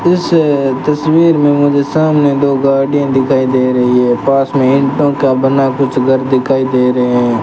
इस तस्वीर में मुझे सामने दो गाड़ियां दिखाई दे रही है पास में ईंटों का बना कुछ घर दिखाई दे रहे हैं।